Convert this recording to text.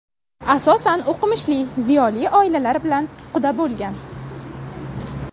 Asosan o‘qimishli, ziyoli oilalar bilan quda bo‘lgan.